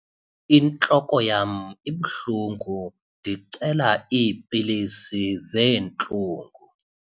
Intloko yam ibuhlungu ndicela iipilisi zeentlungu.